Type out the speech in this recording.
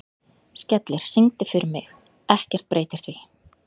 Skellir, syngdu fyrir mig „Ekkert breytir því“.